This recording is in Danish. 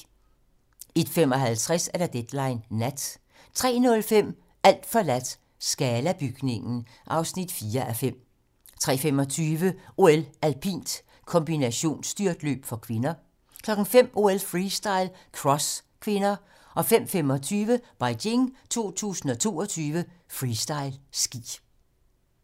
01:55: Deadline nat 03:05: Alt forladt - Scala-bygningen (4:5) 03:25: OL: Alpint - kombinationsstyrtløb (k) 05:00: OL: Freestyle - cross (k) 05:25: Beijing 2022: Freestyle ski